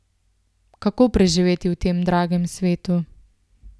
Kako preživeti v tem dragem svetu?